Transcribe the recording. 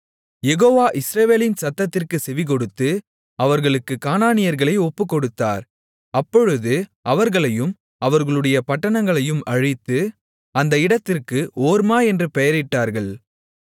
யெகோவா இஸ்ரவேலின் சத்தத்திற்குச் செவிகொடுத்து அவர்களுக்குக் கானானியர்களை ஒப்புக்கொடுத்தார் அப்பொழுது அவர்களையும் அவர்களுடைய பட்டணங்களையும் அழித்து அந்த இடத்திற்கு ஓர்மா என்று பெயரிட்டார்கள்